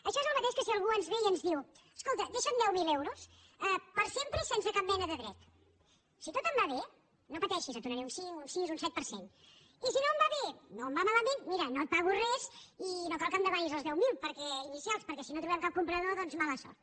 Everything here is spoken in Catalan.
això és el mateix que si algú ens ve i ens diu escolta deixa’m deu mil euros per sempre i sense cap mena de dret si tot em va bé no pateixis te’n donaré un cinc un sis un set per cent i si no em va bé o em va malament mira no et pago res i no cal que em demanis els deu mil inicials perquè si no trobem cap comprador doncs mala sort